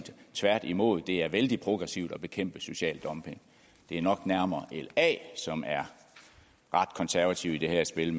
tværtimod det er vældig progressivt at bekæmpe social dumping det er nok nærmere la som er ret konservative i det her spil